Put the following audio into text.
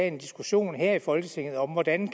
en diskussion her i folketinget om hvordan